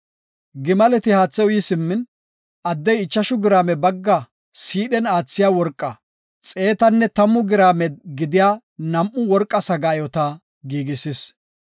Gimaleti haatha uyi simmin, addey ichashu giraame bagga siidhen aathiya worqa xeetanne tammu giraame gidiya nam7u worqa sagaayota giigisis.